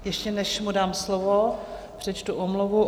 Ještě než mu dám slovo, přečtu omluvu.